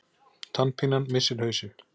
TANNPÍNAN MISSIR HAUSINN